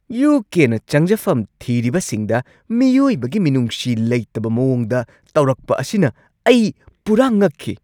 U. K. ꯅ ꯆꯪꯖꯐꯝ ꯊꯤꯔꯤꯕꯁꯤꯡꯗ ꯃꯤꯑꯣꯏꯕꯒꯤ ꯃꯤꯅꯨꯡꯁꯤ ꯂꯩꯇꯕ ꯃꯑꯣꯡꯗ ꯇꯧꯔꯛꯄ ꯑꯁꯤꯅ ꯑꯩ ꯄꯨꯔꯥ ꯉꯛꯈꯤ ꯫